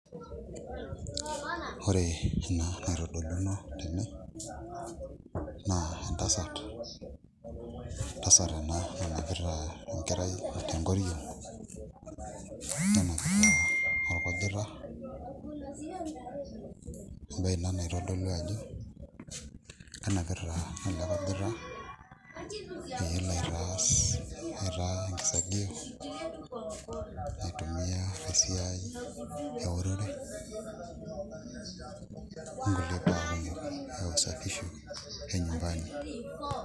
Ore ena naitodoluno tene naa entasat ena nanapita enkerai tenkoriong' nenapita orkujita embaye ina naitodolu ajo kenapita ele kujita pee elo aitaa enkisagio naitumiaa tesiai eorore onkulie baa kumok e usafisho enyumbani.